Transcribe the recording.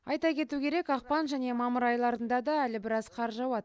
айта кету керек ақпан және мамыр айларында да әлі біраз қар жауады